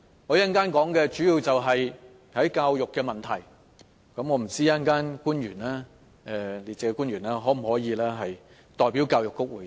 我稍後的發言主要涉及教育方面的問題，我不知道稍後列席的官員可否代表教育局回答。